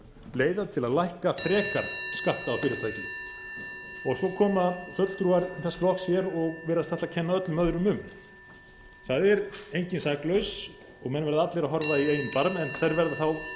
leiða til að lækka frekar skatta á fyrirtæki svo koma fulltrúar þess flokks hér og virðast ætla að kenna öllum öðrum um það er enginn saklaus og menn verða allir að horfa í eigin barm en þeir verða þá